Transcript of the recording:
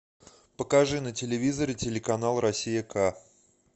покажи на телевизоре телеканал россия к